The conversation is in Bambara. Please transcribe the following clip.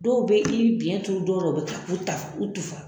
Dɔw bɛ i biɲɛ turu dɔw dɔw la u bɛ u ta u tufa